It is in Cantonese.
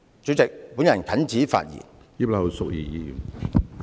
主席，本人謹此發言。